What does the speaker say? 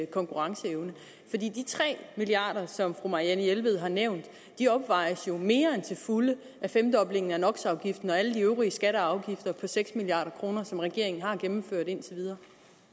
konkurrenceevne for de tre milliard kr som fru marianne jelved har nævnt opvejes jo mere end til fulde af femdoblingen af nox afgiften og alle de øvrige skatter og afgifter på seks milliard kr som regeringen har gennemført indtil videre